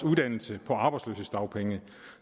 uddannelse på arbejdsløshedsdagpenge